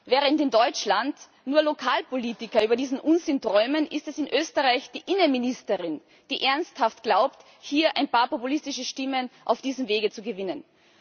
Während in Deutschland nur Lokalpolitiker über diesen Unsinn träumen, ist es in Österreich die Innenministerin, die ernsthaft glaubt, hier ein paar populistische Stimmen auf diesem Wege zu gewinnen.